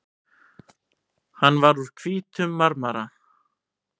Hann var úr hvítum marmara.